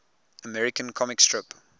american comic strip